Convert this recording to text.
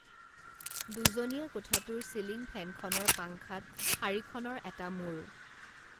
দুজনীয়া কোঠাটোৰ চিলিঙ ফেনখনৰ পাঙ্খাত শাৰীখনৰ এটা মুৰ